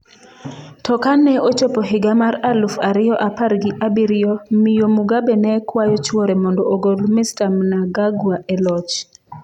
To kane ochopo higa mar aluf ariyo apar gi abirio, miyo Mugabe ne kwayo chuore mondo ogol Mr. Mnangangwa e loch.